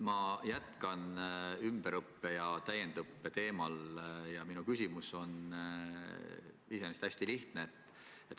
Ma jätkan ümberõppe ja täiendõppe teemal ja minu küsimus on iseenesest hästi lihtne.